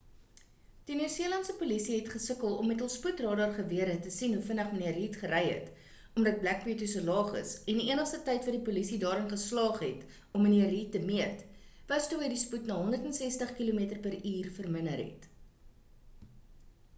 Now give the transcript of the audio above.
die nieu-seelandse polisie het gesukkel om met hul spoedradar-gewere te sien hoe vinnig mnr reid gery het omdat black beauty so laag is en die enigste tyd wat die polisie daarin geslaag het om mnr reid te meet was toe hy spoed na 160 km/h verminder het